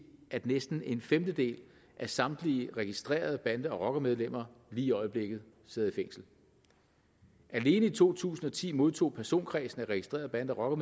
at næsten en femtedel af samtlige registrerede bande og rockermedlemmer lige i øjeblikket sidder i fængsel alene i to tusind og ti modtog personkredsen af registrerede bande og